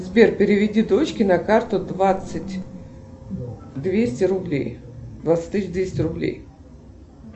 сбер переведи дочке на карту двадцать двести рублей двадцать тысяч двести рублей